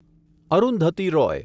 Arundhati Roy